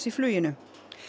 í fluginu